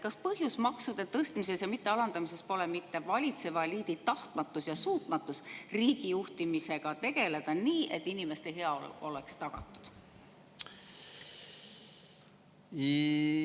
Kas põhjus maksude tõstmises ja mittealandamisest pole mitte valitseva eliidi tahtmatus ja suutmatus riigi juhtimisega tegeleda nii, et inimeste heaolu oleks tagatud?